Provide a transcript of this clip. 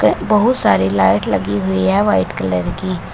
बहुत सारी लाइट लगी हुई है वाइट कलर की।